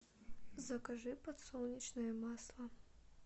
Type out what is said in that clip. закажи подсолнечное масло